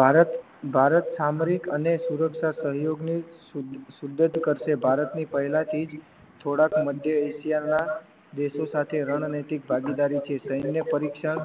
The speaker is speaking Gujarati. ભારત ભારત સામરિક અને સુરક્ષા સહયોગની શુદ્ધ કરશે ભારતની પહેલાથી જ થોડાક મધ્યે એશિયાના દેશો સાથે રણ નૈતિક ભાગીદારી છે સૈન્ય પરીક્ષા